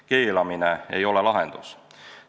Keelamine ei ole lahendus.